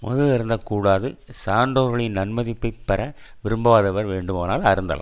மது அருந்தக் கூடாது சான்றோர்களின் நன் மதிப்பை பெற விரும்பாதவர் வேண்டுமானால் அருந்தலாம்